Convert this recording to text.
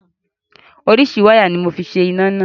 Oríṣiríṣi wáyà ni mo fi ṣe iná náà.